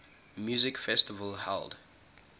music festival held